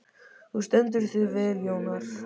Þú stendur þig vel, Jónar!